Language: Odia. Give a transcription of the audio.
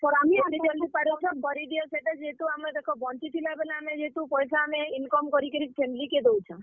ଯେତେ ଜଲ୍ଦି ପାରୁଛ କରି ଦିଅ ସେଟା ଯେହେତୁ ଆମେ ଦେଖ ବଂଚି ଥିଲା ବେଲେ ଆମେ ଯେହେତୁ, ପଏସା income କରି କିରି family କେ ଦଉଚାଁ।